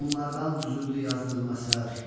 Bunlardan düzüldü yazdığım əsər.